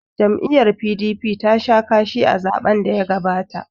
Jam'iyyar PDP tasha kashi a zaɓen daya gabata.